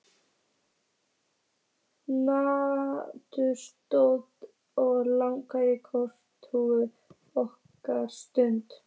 Nautið stóð og lagði kollhúfur nokkra stund.